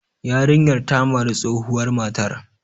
Yarinyar ta mari tsohuwar matar.